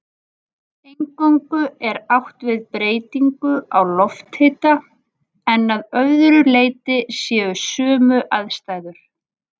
Eingöngu er átt við breytingu á lofthita en að öðru leyti séu sömu aðstæður.